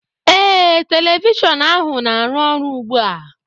ee, telivishọn ahụ na-arụ ọrụ ugbu a